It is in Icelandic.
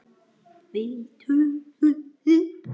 Við þökkum þér öll.